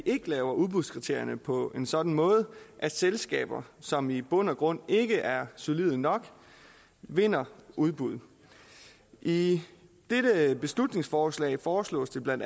ikke laver udbudskriterierne på en sådan måde at selskaber som i bund og grund ikke er solide nok vinder udbuddet i dette beslutningsforslag foreslås det bla